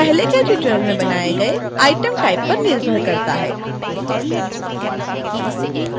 चयन पहले के tutorials में बनाए गए item type पर निर्भर करता है